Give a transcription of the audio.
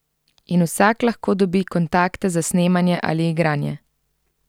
In vsak lahko dobi kontakte za snemanje ali igranje.